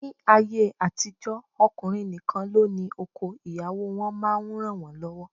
Ni ayé àtijó, ọkùnrin nìkan ló ní oko, ìyàwó wọn máa ń ranwon lọwọ